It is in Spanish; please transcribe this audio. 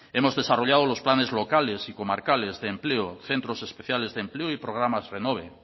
hemos desarrollado los planes locales y comarcales de empleo centros especiales de empleo y programas renove